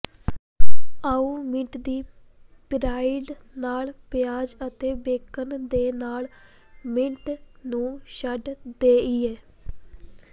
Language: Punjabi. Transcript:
ਆਉ ਮੀਟ ਦੀ ਪਿੜਾਈ ਨਾਲ ਪਿਆਜ਼ ਅਤੇ ਬੇਕਨ ਦੇ ਨਾਲ ਮੀਟ ਨੂੰ ਛੱਡ ਦੇਈਏ